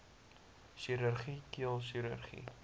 chirurgie keel chirurgie